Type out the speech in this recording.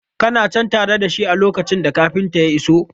Kana cen tare da shi a lokacin da kafintan ya iso?